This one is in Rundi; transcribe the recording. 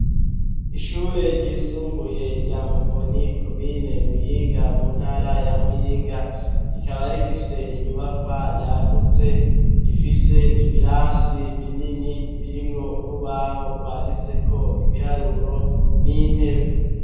Ishure ryisumbuye rya mukoni komine muyinga mu ntara ya muyinga rikaba rifise inyubakwa yagutse ifise ibirasi binini birimwo urubaho rwanditseko ibiharuro n'intebe.